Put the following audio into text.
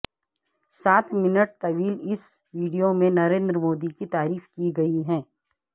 سات منٹ طویل اس ویڈیو میں نریندر مودی کی تعریف کی گئی ہے